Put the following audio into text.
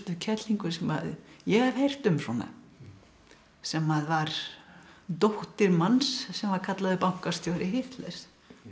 kellingu sem ég hef heyrt um sem var dóttir manns sem var kallaður bankastjóri Hitlers